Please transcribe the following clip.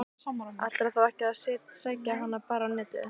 Ætlarðu þá ekki að sækja hana bara á Netið?